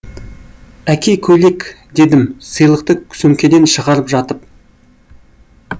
әке көйлек дедім сыйлықты сөмкеден шығарып жатып